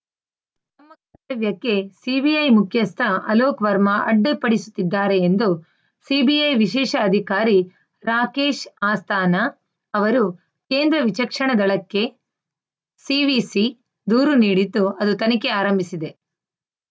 ಕ್ಕೆ ಸಿಬಿಐ ಮುಖ್ಯಸ್ಥ ಅಲೋಕ್‌ ವರ್ಮಾ ಅಡ್ಡಿಪಡಿಸುತ್ತಿದ್ದಾರೆ ಎಂದು ಸಿಬಿಐ ವಿಶೇಷ ಅಧಿಕಾರಿ ರಾಕೇಶ್‌ ಆಸ್ಥಾನಾ ಅವರು ಕೇಂದ್ರ ವಿಚಕ್ಷಣ ದಳಕ್ಕೆ ಸಿವಿಸಿ ದೂರು ನೀಡಿದ್ದು ಅದು ತನಿಖೆ ಆರಂಭಿಸಿದೆ